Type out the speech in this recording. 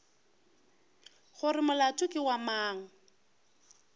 gore molato ke wa mang